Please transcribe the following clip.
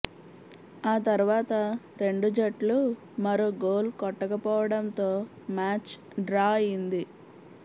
ఆ తర్వాత రెండు జట్లు మరో గోల్ కొట్టకపోవడంతో మ్యాచ్ డ్రా అయింది